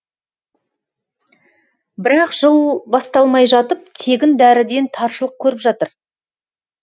бірақ жыл басталмай жатып тегін дәріден таршылық көріп жатыр